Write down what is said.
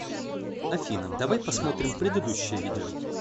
афина давай посмотрим предыдущее видео